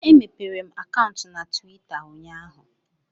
Emepere m akaụntụ na Tuwita ụnyaahụ